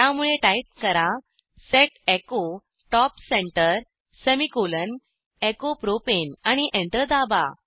त्यामुळे टाईप करा set echo top centre semicolon echo propane आणि एंटर दाबा